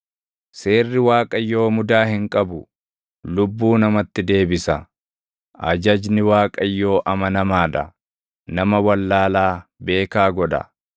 Seerri Waaqayyoo mudaa hin qabu; lubbuu namatti deebisa. Ajajni Waaqayyoo amanamaa dha; nama wallaalaa beekaa godha.